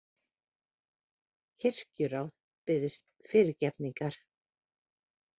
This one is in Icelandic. Kirkjuráð biðst fyrirgefningar